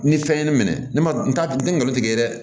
Ni fɛn ye ne minɛ ne ma n ta n tɛ ngalon tigɛ dɛ